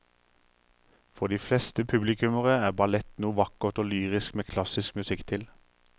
For de fleste publikummere er ballett noe vakkert og lyrisk med klassisk musikk til.